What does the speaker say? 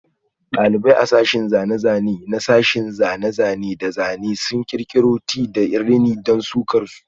Dalibai a sashin zane-zane na sashen zane-zane da zane-zane sun kirkiro Tie da rini don sukar su.